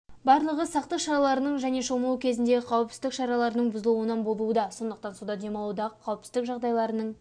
барлығы сақтық шараларының және шомылу кезіндегі қауіпсіздік шараларының бұзылуынан болуда сондықтан суда демалудағы қауіпсіздік жағдайларының